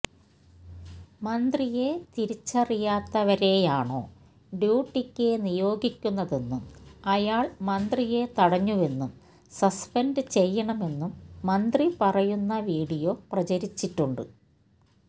മന്ത്രിയെ തിരിച്ചറിയാത്തവരെയാണോ ഡ്യൂട്ടിക്ക് നിയോഗിക്കുന്നതെന്നും അയാള് മന്ത്രിയെ തടഞ്ഞുവെന്നും സസ്പെന്റ് ചെയ്യണമെന്നും മന്ത്രി പറയുന്ന വിഡിയോ പ്രചരിച്ചിട്ടുണ്ട്